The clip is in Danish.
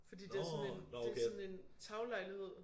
Fordi det sådan en det sådan en taglejlighed